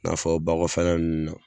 N'a fɔ ba kɔfɛla nunnu na